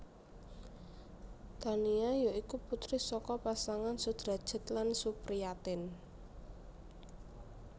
Tania ya iku putri saka pasangan Sudrajat lan Supriatin